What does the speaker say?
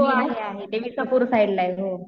हो आहे आहे साईडला आहे.